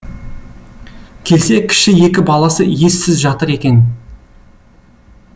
келсе кіші екі баласы ессіз жатыр екен